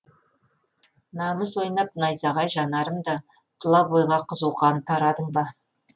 намыс ойнап найзағай жанарымда тұла бойға қызу қан тарадың ба